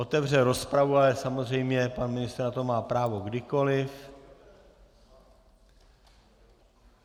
Otevřel rozpravu, ale samozřejmě pan ministr na to má právo kdykoli.